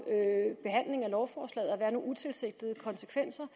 behandlingen af lovforslaget at være nogle utilsigtede konsekvenser